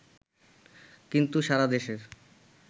কিন্তু সারা দেশের